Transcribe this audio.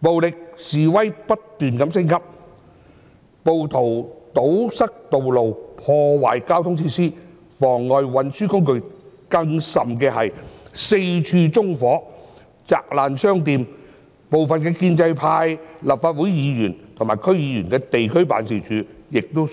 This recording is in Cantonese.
暴力示威不斷升級，暴徒堵塞道路，破壞交通設施，妨礙運輸工具，更甚是四處縱火，砸爛商店，部分建制派立法會議員及區議員的地區辦事處亦遭殃。